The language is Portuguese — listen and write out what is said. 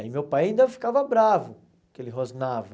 Aí meu pai ainda ficava bravo que ele rosnava.